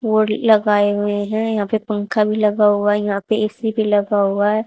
Board लगाए हुए हैं यहां पे पंखा भी लगा हुआ है यहां पे ए_सी भी लगा हुआ है।